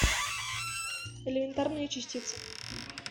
элементарные частицы